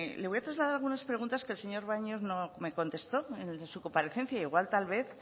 le voy a trasladar algunas preguntas que el señor baños no me contestó en su comparecencia igual tal vez